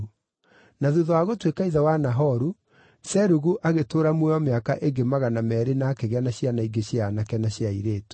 Na thuutha wa gũtuĩka ithe wa Nahoru, Serugu agĩtũũra muoyo mĩaka ĩngĩ magana meerĩ na akĩgĩa na ciana ingĩ cia aanake na cia airĩtu.